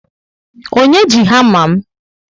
Onye ji hama m?